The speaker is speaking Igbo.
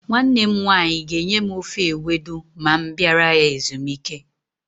Nwanne m nwaanyị ga-enye m ofe ewedu ma m bịara ya ezumike.